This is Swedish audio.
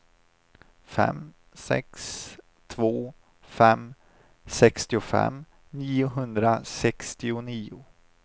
fem sex två fem sextiofem niohundrasextionio